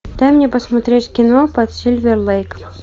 дай мне посмотреть кино под сильвер лэйк